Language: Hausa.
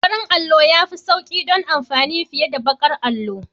Farin allo ya fi sauƙi don amfani fiye da baƙar allo.